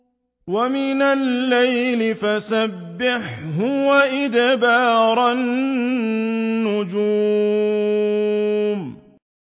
وَمِنَ اللَّيْلِ فَسَبِّحْهُ وَإِدْبَارَ النُّجُومِ